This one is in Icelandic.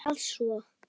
En hvað svo?